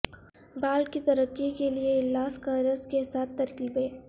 بال کی ترقی کے لئے الاس کا رس کے ساتھ ترکیبیں